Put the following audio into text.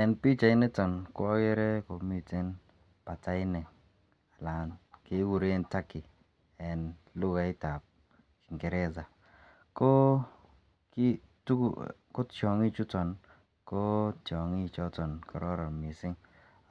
en pichait nito ko ogere komiten patainik alan kegureen turkey en lugaait ab ingeresa koo tyongik chuton koo tyongiik choton chegororon mising